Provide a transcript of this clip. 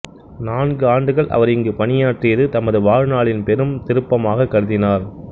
நான்கு ஆண்டுகள் அவர் இங்கு பணியாற்றியது தமது வாழ்நாளின் பெரும் திருப்பமாகக் கருதினார்